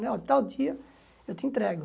Né tal dia eu te entrego.